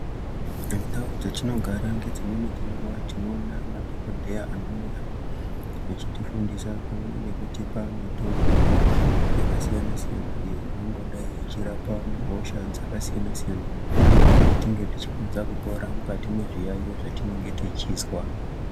Ndau dzetinogara ngedzimweni dzenguwa tinoona madhokodheya anouya vachitifundisa pamwe nekutipa mitombo yakasiyana siyana iyo inongodai ichirapa hosha dzakasiyana siyana kuti tigokurumidze kupora mukati mwezviyaiyo zvatinenge tichizwa.